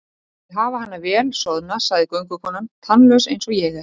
Ég vil hafa hana vel soðna, sagði göngukonan, tannlaus eins og ég er.